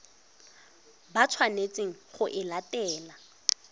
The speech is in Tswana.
ba tshwanetseng go e latela